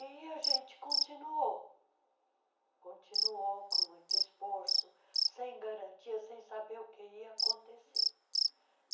E a gente continuou, continuou com muito esforço, sem garantia, sem saber o que ia acontecer.